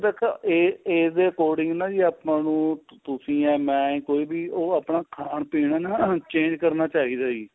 ਦੇਖੋ age ਦੇ according ਨਾ ਜੀ ਆਪਾਂ ਨੂੰ ਤੁਸੀਂ ਜਾਂ ਮੈਂ ਕੋਈ ਵੀ ਉਹ ਆਪਣਾ ਖਾਣ ਪੀਣ ਨਾ change ਕਰਨਾ ਚਾਹੀਦਾ ਜੀ